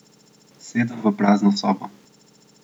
Sedem v prazno sobo.